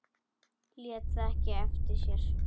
Lét það ekki eftir sér.